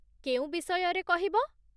କେଉଁ ବିଷୟରେ କହିବ?